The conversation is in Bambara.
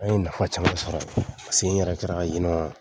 An ye nafa caman sɔrɔ yen . Paseke n yɛrɛ sera ka yen nɔn